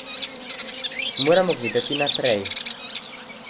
Moramo gledati naprej.